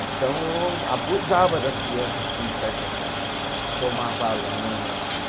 Então, abusava das criança assim certas, tomava lanche.